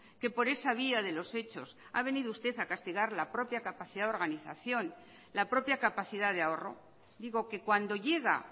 que por esa vía de los hechos ha venido usted a castigar la propia capacidad de organización la propia capacidad de ahorro digo que cuando llega